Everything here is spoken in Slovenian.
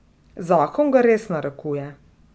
Zakon ga res narekuje.